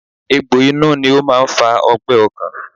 Egbò inú ni ó máa ń fa ọgbẹ́ ọkàn